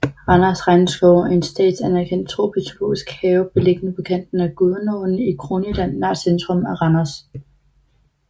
Randers Regnskov er en statsanerkendt tropisk zoologisk have beliggende på kanten af Gudenåen i Kronjylland nær centrum af Randers